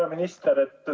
Hea minister!